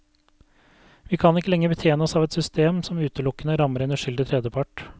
Vi kan ikke lenger betjene oss av et system som utelukkende rammer en uskyldig tredjepart.